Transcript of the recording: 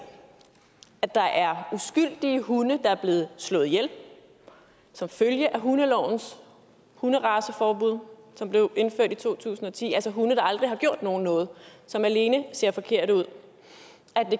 at der er uskyldige hunde der er blevet slået ihjel som følge af hundelovens hunderaceforbud som blev indført i to tusind og ti altså hunde der aldrig har gjort nogen noget som alene ser forkerte ud